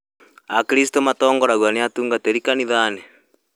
Akristo matongoragio nĩ atungatĩri kanithainĩ